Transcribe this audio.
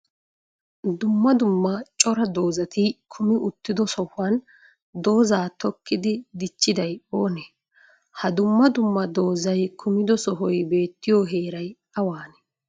Duummaa duummaa cora doozati kumi uttido sohuwan dooza tokkidi dichchiday oone? Ha duummaa duummaa doozay kumido sohoy beettiyo heeray awaanee?